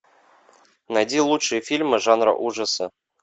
найди лучшие фильмы жанра ужасы